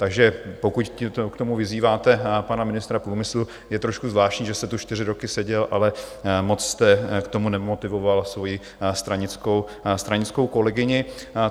Takže pokud k tomu vyzýváte pana ministra průmyslu, je trošku zvláštní, že jste tu čtyři roky seděl, ale moc jste k tomu nemotivoval svoji stranickou kolegyni.